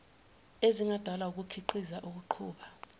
ezingadalwa wukukhiqiza ukuqhuba